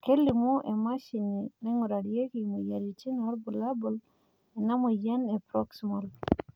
kelimu emashini naingurarieki imoyiaritin irbulabol lena moyian e Proximal